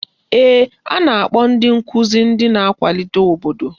Mba, a na-akpọ ndị nkụzi ndị na-akwalite obodo